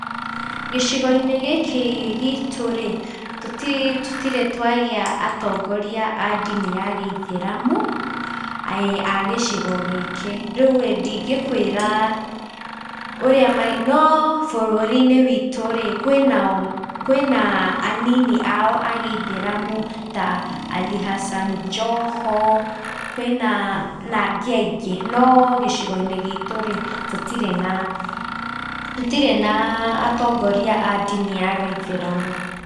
Gĩcigo-inĩ gĩkĩ gitũ rĩ, tũtirĩ twagĩa atongoria a ndini ya gĩithĩramu, a gĩcigo gĩkĩ, rĩu rĩ nndĩngĩkũĩra , no bũrũri-inĩ witũ rĩ, kwĩna anini ao a gĩithĩramu ta Ali Hassan Joho, kwĩna angĩ aingĩ, no gĩcigo-inĩ gitũ rĩ tũtirĩ na atongoria a ndini ya gĩithĩramu.